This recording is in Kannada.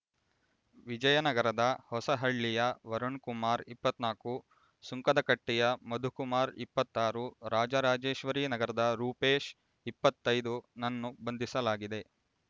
ವಿಜಯನಗರದ ಹೊಸಹಳ್ಳಿಯ ವರುಣ್ ಕುಮಾರ್ ಇಪ್ಪತ್ತ್ ನಾಕು ಸುಂಕದಕಟ್ಟೆಯ ಮಧುಕುಮಾರ್ ಇಪ್ಪತಾರು ರಾಜರಾಜೇಶ್ವರಿ ನಗರದ ರೂಪೇಶ್ ಇಪ್ಪತೈದು ನನ್ನು ಬಂಧಿಸಲಾಗಿದೆ